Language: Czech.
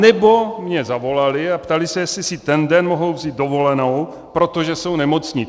Anebo mi zavolali a ptali se, jestli si ten den mohou vzít dovolenou, protože jsou nemocní.